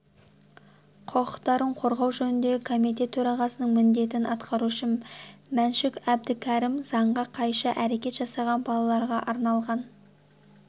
құқықтарын қорғау жөніндегі комитет төрағасының міндетін атқарушы мәншүк әбдікәрім заңға қайшы әрекет жасаған балаларға арналған